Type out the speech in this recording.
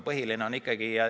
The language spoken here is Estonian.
See on küsimus.